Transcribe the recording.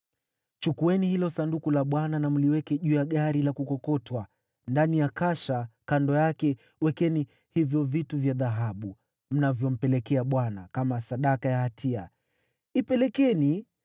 Chukueni hilo Sanduku la Bwana na mliweke juu ya gari la kukokotwa, na ndani ya kasha kando yake wekeni hivyo vitu vya dhahabu mnavyompelekea Bwana kama sadaka ya hatia. Lipelekeni,